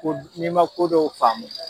Ko n'i man kodɔw faamu